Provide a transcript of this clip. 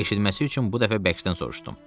Eşitməsi üçün bu dəfə bərkdən soruşdum.